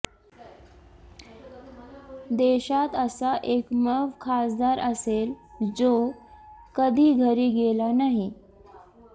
देशात असा एकमेव खासदार असेल जो कधी घरी गेला नाही